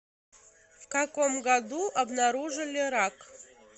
в каком году обнаружили рак